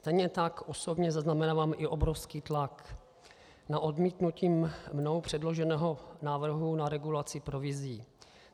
Stejně tak osobně zaznamenávám i obrovský tlak na odmítnutí mnou předloženého návrhu na regulaci provizí.